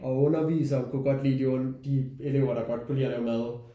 Og underviseren kunne godt lide de de elever der godt kunne lide at lave mad